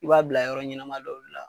I b'a bila yɔrɔ ɲɛnama dɔ de la.